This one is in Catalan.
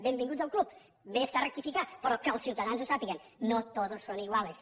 benvinguts al club bé està rectificar però que els ciutadans ho sàpiguen no todos son iguales